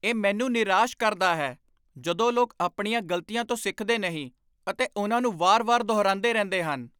ਇਹ ਮੈਨੂੰ ਨਿਰਾਸ਼ ਕਰਦਾ ਹੈ ਜਦੋਂ ਲੋਕ ਆਪਣੀਆਂ ਗ਼ਲਤੀਆਂ ਤੋਂ ਸਿੱਖਦੇ ਨਹੀਂ ਅਤੇ ਉਨ੍ਹਾਂ ਨੂੰ ਵਾਰ ਵਾਰ ਦੁਹਰਾਉਂਦੇ ਰਹਿੰਦੇ ਹਨ